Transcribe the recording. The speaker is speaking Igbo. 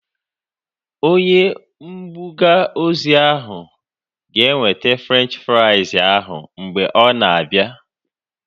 Onye mbuga ozi ahu ga-eweta Frenchi frais ahu mgbe ọ na-abia